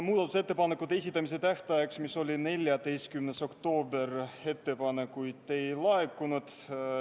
Muudatusettepanekute esitamise tähtajaks, mis oli 14. oktoober, ettepanekuid ei laekunud.